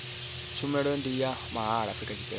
tshumelo ndi ya mahala afrika tshipembe